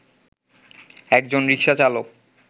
একজন রিকশাচালক